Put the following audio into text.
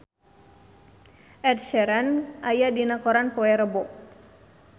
Ed Sheeran aya dina koran poe Rebo